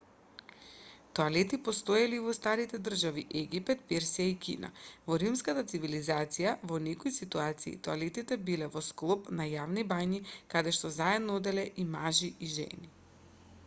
тоалети постоеле и во старите држави египет персија и кина во римската цивилизација во некои ситуации тоалетите биле во склоп на јавните бањи каде што заедно оделе и мажи и жени